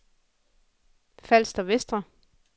Falster Vestre